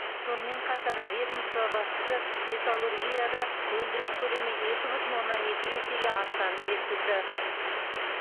сонымен қатар ведомство басшысы металлургияда өндіріс көлемі екі бүтін оннан екі есеге артқанын жеткізді